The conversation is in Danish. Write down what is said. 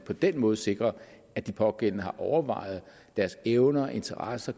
på den måde sikrer at de pågældende har overvejet deres evner interesser